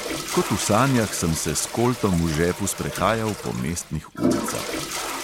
Kot v sanjah sem se s koltom v žepu sprehajal po mestnih ulicah.